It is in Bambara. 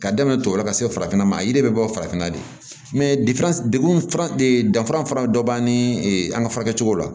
Ka daminɛ tɔw la ka se farafinna ma a yiri bɛ bɔ farafinna de dekun fana de danfara fura dɔ b'an ni an ka furakɛ cogo la